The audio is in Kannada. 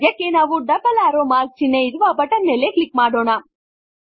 ಸಧ್ಯಕ್ಕೆ ನಾವು ಡಬಲ್ ಏರೋ ಮಾರ್ಕ್ ಚಿಹ್ನೆ ಇರುವ ಬಟನ್ ಮೇಲೆ ಕ್ಲಿಕ್ ಮಾಡೋಣ